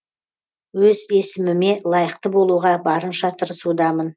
өз есіміме лайықты болуға барынша тырысудамын